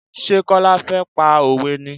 Ṣé Kọ́lá fẹ́ pa òwe ni?